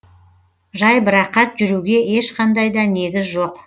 жайбарақат жүруге ешқандай да негіз жоқ